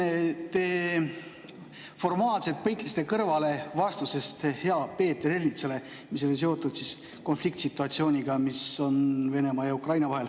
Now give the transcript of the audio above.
Te formaalselt põikasite kõrvale vastusest heale Peeter Ernitsale, kelle küsimus oli seotud konfliktsituatsiooniga, mis on Venemaa ja Ukraina vahel.